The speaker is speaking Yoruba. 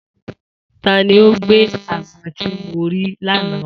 Ta ni o gbé àgbọn tí mo rí l'ana wá